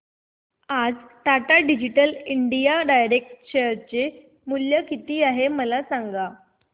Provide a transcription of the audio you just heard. आज Tata digital India direct share चे मूल्य किती आहे मला सांगा